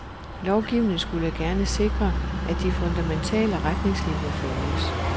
Lovgivningen skulle gerne sikre, at de fundamentale retningslinier følges.